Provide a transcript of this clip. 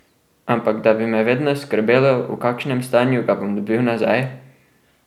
Ampak, da bi me vedno skrbelo, v kakšnem stanju ga bom dobil nazaj?